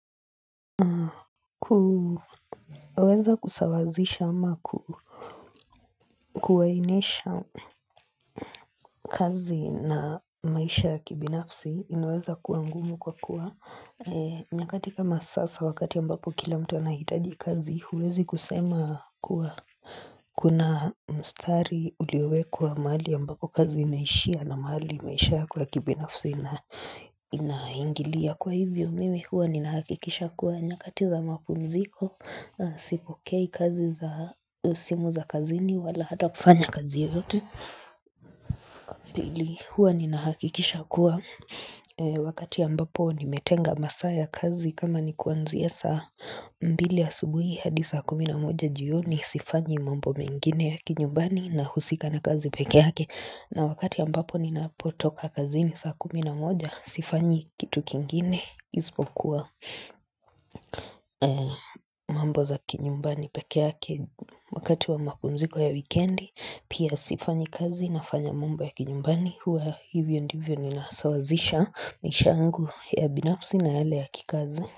Kuweza kusawazisha ama kuwainisha kazi na maisha ya kibinafsi inaweza kua ngumu kwa kuwa nyakati kama sasa wakati ambapo kila mtu anahitaji kazi huwezi kusema kuwa Kuna mstari uliowekwa mahali ambapo kazi inaishia na mahali maisha yako ya kibinafsi na ina ingilia kwa hivyo mimi huwa ninahakikisha kuwa nyakati za mapunziko Sipokei kazi za simu za kazini wala hata kufanya kazi yoyote Pili huwa nina hakikisha kuwa Wakati ambapo nimetenga masaa ya kazi kama ni kuanzia saa mbili asubuhi hadi saa kumi na moja jioni, sifanyi mambo mengine ya kinyubani nahusika na kazi peke yake na wakati ambapo ninapotoka kazini saa kumi na moja sifanyi kitu kingine isipokuwa mambo za kinyumbani peke yake Wakati wa mapumziko ya wikendi Pia sifanyi kazi nafanya mambo ya kinyumbani huwa hivyo ndivyo ninasawazisha maisha yangu ya binafsi na yale ya kikazi.